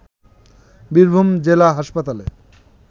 বীরভূম জেলা হাসপাতালে